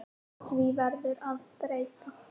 Því verður að breyta.